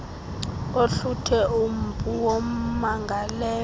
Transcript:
ohluthe umpu wommangalelwa